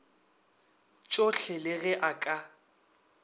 tšohle le ge a ka